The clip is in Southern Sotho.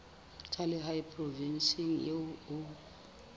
tsa lehae provinseng eo o